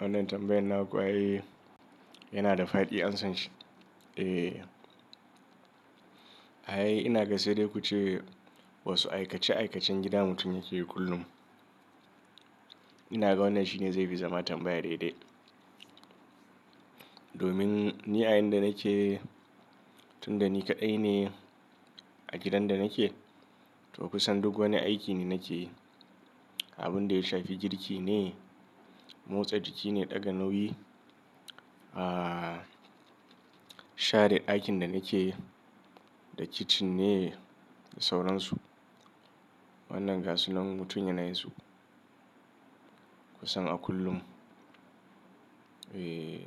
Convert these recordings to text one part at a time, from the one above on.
Wannan tambayar na kuwa yana da fadi an san shi? E, ae ina ga sai dai ku ce wasu aikace aikacen gidan mutum yake yi kullum. Ina ga wannan shine zai fi zama tambaya daidai. Domin ni a inda nake, tunda ni kaɗai ne a gidan da nake, to kusan duk wani aiki ni nake yi. Abun da ya shafi girki ne, motsa jiki ne, ɗaga nauyi, ah share aikin da nake yi da kicin ne da sauransu. Wannan ga su nan mutum yana yi su kusan a kullum. E,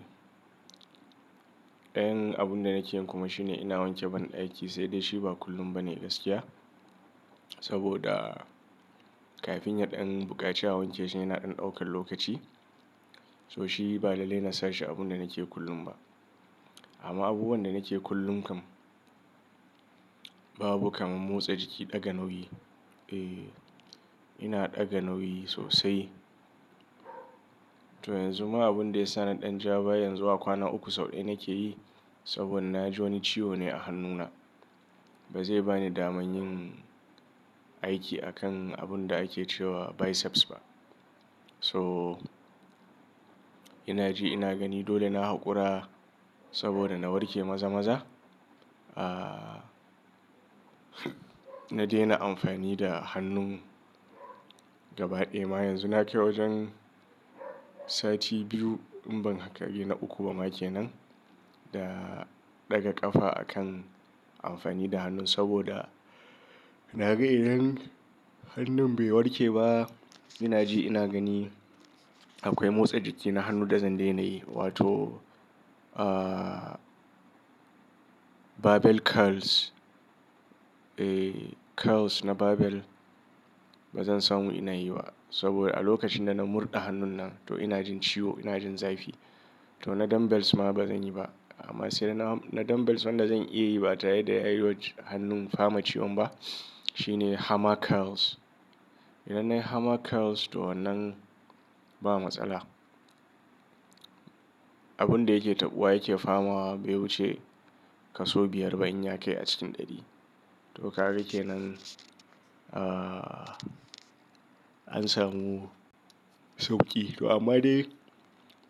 ɗayan abun da nake yin kuma shine ina wanke ban aiki sai dai shi ba kullum ba ne gaskiya. Saboda kafin yaɗan buƙaci a wanke shi yana ɗan ɗaukar lokaci. So shi ba lalle ina sa shi abun da nake kullum ba. Amma abubuwan da nake kullum kam babu kamar motsa jiki, ɗaga nauyi. E, ina ɗaga nauyi sosai. To yanzu ma abin da ya sa na ɗan ja ba yanzu a kwana uku sau ɗaya nake yi saboda na ji wani ciwo ne a hannuna. Ba zai ba ni daman yin aiki akan abun da ake ce wa biceps ba. So ina ji ina gani dole na haƙura saboda na warke maza maza. Ah na daina amfani da hannun gaba ɗaya ma yanzu nake wajen sati biyu in ban haka biyu na uku ba make nan da ɗaga ƙafa akan amfani da hannu saboda na ga idan hannun bai warke ba ina ji ina gani akwai motsa jiki na hannu da zan daina yi wato ah barbell curls. E curls na barbell ba zan samu ina yi wa saboda a lokacin da na murɗe hannun nan to ina jin ciwo ina jin zafi. To na dumbbells ma ba zan yi ba amma sai dai na dumbbells wanda zan iya yi ba tare da ya yi waj hannun fama ciwon ba shine hammer curls. Idan na yi hammer curls to wannan ba matsala. Abun da yake taɓuwa yake fama bai wuce kaso biyar ba in ya kai a cikin ɗari. To ka ga ke nan ah an samu sauƙi. To amma dai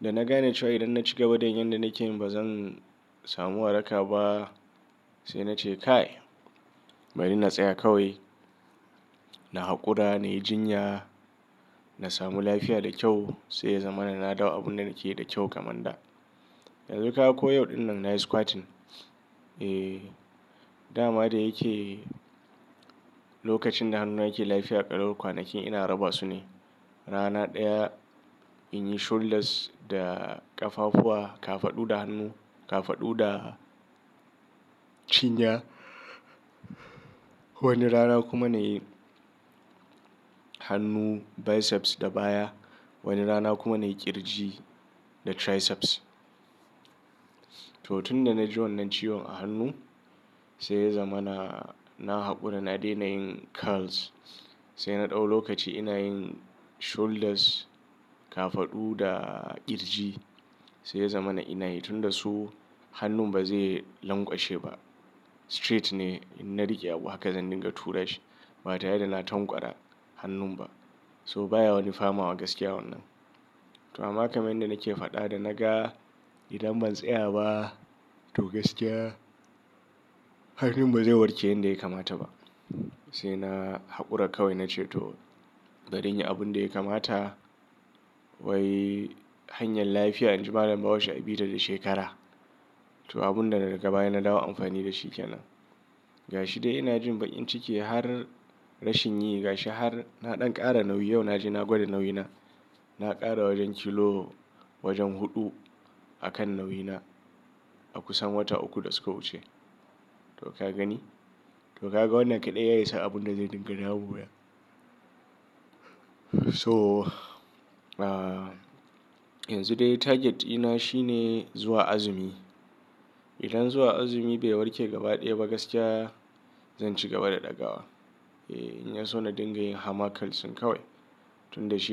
da na gane cewa idan na ci gaba da yin yanda nake ba zan samu waraka ba sai na ce kai bari na tsaya kawai. Na haƙura, na yi jinya, na samu lafiya da kyau sai ya zama na na dawo abun da nake yi da kyau kamar da. Yanzu ka ko yau ɗin nan na yi squatting. E dama dai yake lokacin da hannuna yake lafiya qalau kwanakin ina raba su ne. Rana ɗaya in yi shoulders da ƙafafuwa, kafadu da hannu, kafadu da cinya. Wani rana kuma na yi hannu biceps da baya. Wani rana kuma na yi ƙirji da triceps. To tun da na ji wannan ciwon a hannu sai ya zama na, na haƙura na daina yin curls sai na ɗau lokaci ina yin shoulders, kafadu da ƙirji sai ya zama na ina yi tun da su hannun ba zai lankwashe ba. Straight ne in na riƙe abu haka zan dinga tura shi ba tare da na tamƙwara hannun ba. So baya wani fama wa gaskiya wannan. To amma kamar yadda nake faɗa da na ga idan ban tsaya ba to gaskiya hannun ba zai warke yanda ya kamata ba sai na haƙura kawai na ce to bari in yi abun da ya kamata. Wai hanyar lafiya inji malam bahaushe abita da shekarama n a bi da ta shekara. To abun da daga baya na dawo amfani da shi kenan. Ga shi dai ina jin bakin ciki har rashin yi ga shi har na ɗan ƙara nauyi yau na je na gwada nauyi na. Na ƙara wajen kilo wajen huɗu akan nauyi na a kusan wata uku da suka wuce. To ka gani? To ka ga wannan kaɗai yayi sa abun da zai dinga damuwa. So ah yanzu dai target dina shine zuwa azumi. Idan zuwa azumi bai warke gaba ɗaya ba gaskiya zan ci gaba da ɗaga wa. E in ya so na dinga yin hammer curls kawai tun da shi.